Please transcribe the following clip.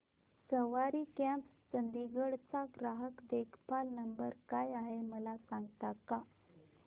सवारी cabs Chandigarh चा ग्राहक देखभाल नंबर काय आहे मला सांगता का